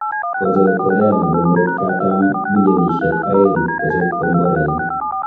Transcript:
Kochor Korea nebo murotkatam bilionisyek aeng kochob komborainik